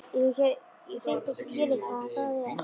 Ég get hreint ekki skilið hvað það er.